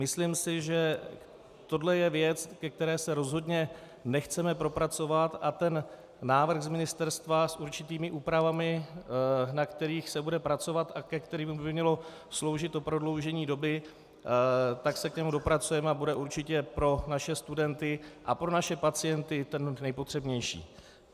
Myslím si, že tohle je věc, ke které se rozhodně nechceme propracovat, a ten návrh z ministerstva s určitými úpravami, na kterých se bude pracovat a ke kterým by mělo sloužit to prodloužení doby, tak se k němu dopracujeme a bude určitě pro naše studenty a pro naše pacienty ten nejpotřebnější.